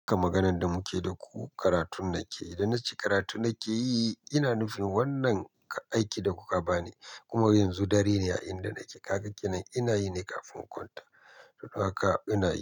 Ka maganan da muke yi da ku karatun nake. Idan na ce karatun nake yi, ina nufin wannan aikin da kuka ba ni kuma yanzu dare ne a inda nake. Kafa kenan ina yi ne kafin kwanta. Don haka ina yi.